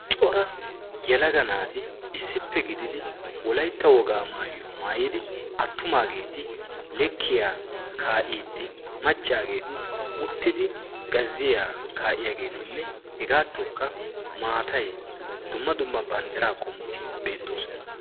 cora yalaga naati issippe gididi wolaytta wogaa maayiyaa maayidi attumaageeti lekkiya kaa'iiddi maccaageeti uttidi gazziyaa kaa'iyaageetinne hegaattookka maatay dumma dumma banddira qomoti beettoosona